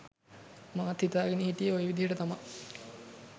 මාත් හිතාගෙන හිටියේ ඔය විදිහටම තමා